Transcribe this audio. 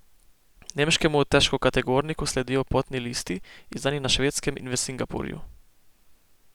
Nemškemu težkokategorniku sledijo potni listi, izdani na Švedskem in v Singapurju.